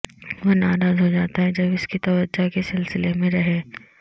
وہ ناراض ہو جاتا ہے جب اس کی توجہ کے سلسلے میں رہیں